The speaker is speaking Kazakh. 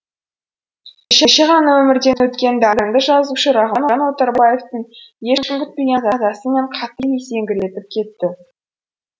кеше ғана өмірден өткен дарынды жазушы рахымжан отарбаевтың ешкім күтпеген қазасы мені қатты есеңгіретіп кетті